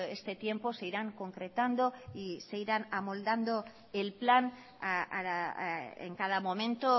este tiempo se irán concretando y se irán amoldando el plan en cada momento